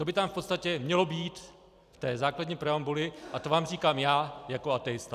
To by tam v podstatě mělo být v té základní preambuli a to vám říkám já jako ateista.